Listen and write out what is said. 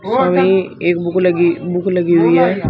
सामने एक बुक लगी बुक लगी हुई है।